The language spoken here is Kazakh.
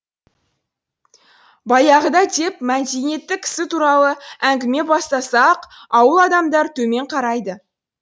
баяғыда деп мәдениетті кісі туралы әңгіме бастаса ақ ауыл адамдары төмен қарайды